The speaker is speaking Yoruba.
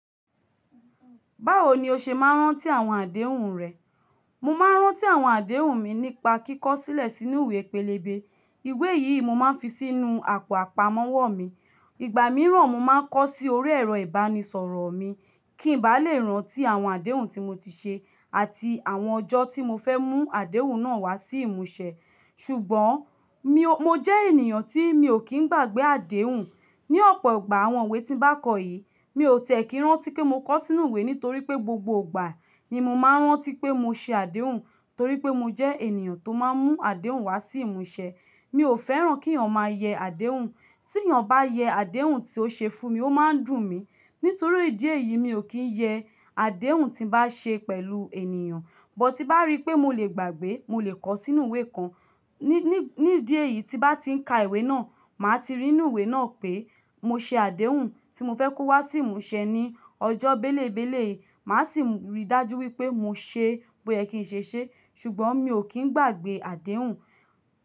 Báwo ni o ṣe máa ń rántí àwọn àdéhùn rẹ? Mo máa ń rántí àwọn àdéhùn mi nípa kíkọ́ sílẹ̀ sínú ìwé pélébé. Ìwé yìí mo máa ń fi sínú àpò àpamọ́wọ́ mi. Ìgbà mìíràn mo máa ń kọ sí orí ẹ̀rọ ìbánisọ̀rọ̀ mi kí n ba lè rántí àwọn àdéhùn tí mo ti ṣe àti àwọn ọjọ́ tí mo fẹ́ mú àdéhùn náà wá sí ìmúṣẹ. Ṣùgbọ́n mo jẹ́ ènìyàn tí mi ò kí ń gbàgbé àdéhùn. Ni ọ̀pọ̀ ìgbà àwọn ìwé tí ń bá kọ yìí, mi ò tẹ̀ kí ń rántí kí mo kọ sínú ìwé nítorí pé gbogbo ìgbà ni mo máa ń rántí pé mo ṣe àdéhùn torí pé mo jẹ́ ènìyàn tó máa ń mú àdéhùn wá sí ìmúṣẹ. Mi ò fẹ́ràn kí ènìyàn máa yẹ àdéhùn. Tí ènìyàn bá yẹ àdéhùn tí ó ṣe fún mi, ó máa ń dùn mí. Nítorí ìdí èyí mi ò kí ń yẹ àdéhùn tí ń bá ṣe pẹ̀lú ènìyàn. But, ti n bá rí pé mo lè gbàgbé, mo lè kọ sínú ìwé kan. Ni ìdí èyí tí bá ti ń ka ìwé náà, màá ti rí nínú ìwé náà pé mo ṣe àdéhùn tí mo fẹ́ kó wá sí ìmúṣẹ ní ọjọ́ bélébélé yìí. Màá sì rí i dájú wípé mo ṣe bo yẹ kí n ṣe ṣe. Ṣùgbọ́n mi ò kí ń gbàgbé àdéhùn.